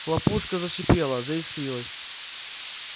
хлопушка зашипела заискрилась